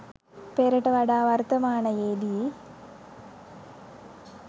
පෙරට වඩා වර්තමානයේදී